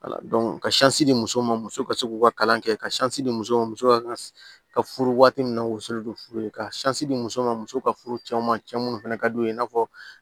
ka di muso ma muso ka se k'u ka kalan kɛ ka di muso ma muso ka ka furu waati min na woso don furu ye ka di muso ma muso ka furu cɛw ma cɛ minnu fana ka d'u ye i n'a fɔ